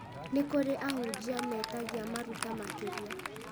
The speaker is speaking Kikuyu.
nĩ kũrĩ ahunjia metagia maruta makĩria